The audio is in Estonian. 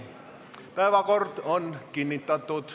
Päevakord on kinnitatud.